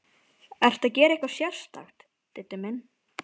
Ertu að gera eitthvað sérstakt, Diddi minn.